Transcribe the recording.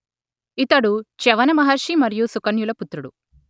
ఇతడు చ్యవన మహర్షి మరియు సుకన్యుల పుత్రుడు